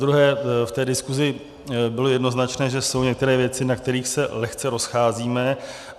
Zadruhé, v té diskusi bylo jednoznačné, že jsou některé věci, na kterých se lehce rozcházíme.